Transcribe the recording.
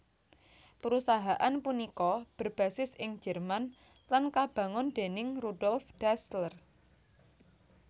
Perusahaan punika berbasis ing Jerman lan kabangun déning Rudolf Dassler